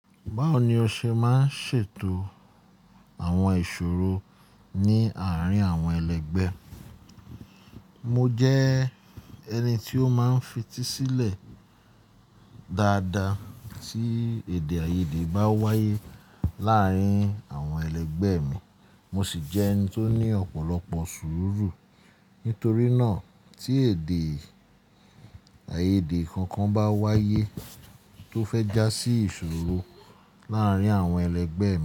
Báwo ni o ṣe máa ń ṣètò àwọn ìṣòro ní àárín àwọn ẹlẹgbẹ́? Mo jẹ́ ẹni tí ó máa ń fetí sílẹ̀ dáadáa tí èdè-áiyedé bá wáyé láàárín àwọn ẹlẹgbẹ́ mi. Mo sì jẹ́ ẹni tó ní ọ̀pọ̀lọpọ̀ sùúrù. Nítorí náà, tí èdè-áiyedé kankan bá wáyé tó fẹ́ já sí ìṣòro láàárín àwọn ẹlẹgbẹ́ mi.